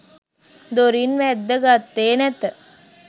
දොරින් වැද්ද ගත්තේ නැත.